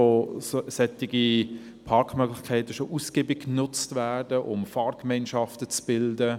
Dort werden solche Parkmöglichkeiten bereits ausgiebig genutzt, um Fahrgemeinschaften zu bilden.